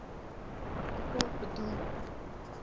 artikel bedoel